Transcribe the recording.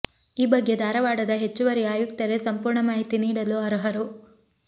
ಈ ಬಗ್ಗೆ ಧಾರವಾಡದ ಹೆಚ್ಚುವರಿ ಆಯುಕ್ತರೇ ಸಂಪೂರ್ಣ ಮಾಹಿತಿ ನೀಡಲು ಅರ್ಹರು